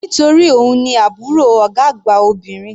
Nítorí òun ni àbúrò ọ̀gá àgbà obìnrin.